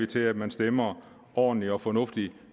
til at man stemmer ordentligt og fornuftigt